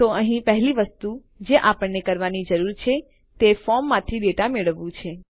તો અહીં પહેલી વસ્તુ જે આપણે કરવાની જરૂર છે તે ફોર્મમાંથી ડેટા મેળવવું છે